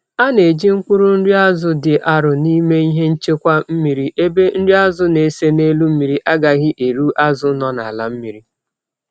A na eji mkpụrụ nri azu di arụ n'ime ihe nchekwa mmiri ebe nri azu na ese n'elụ mmiri agaghi erụ azu nọ n'ala mmiri